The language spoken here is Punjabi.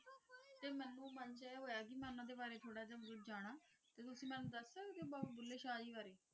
ਬਾਬਾ ਭੂਲੇ ਸ਼ਾਹ ਜੀ ਬਾਰੇ